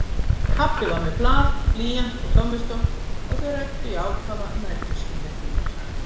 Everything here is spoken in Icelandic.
Pabbi var með blað, blýant og tommustokk og þau ræddu í ákafa um eldhúsinnréttingar.